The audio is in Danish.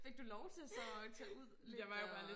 Fik du lov til så at tage lidt og